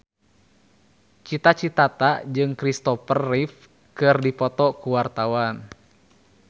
Cita Citata jeung Kristopher Reeve keur dipoto ku wartawan